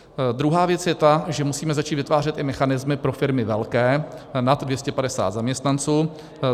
Druhá věc je ta, že musíme začít vytvářet i mechanismy pro firmy velké, nad 250 zaměstnanců.